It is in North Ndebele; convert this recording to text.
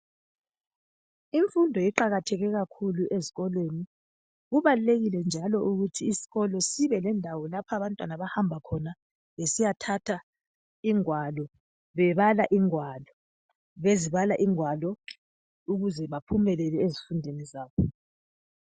Imfundo iqakatheke kakhulu ezikolweni. Kubalulekile njalo ukuthi isikolo sibelendawo lapha bantwana abahamba khona besiyathatha ingwalo, bebala ingwalo, bezibala ingwalo ukuze baphumelele ezifundweni zabo